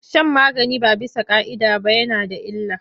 Shan magani ba bisa ƙa'ida ba yana da illa.